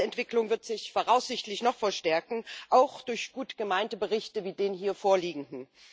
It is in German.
Diese Entwicklung wird sich voraussichtlich noch verstärken, auch durch gut gemeinte Berichte wie den hier vorliegenden.